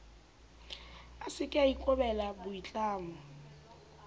a seke a ikobela boitlamo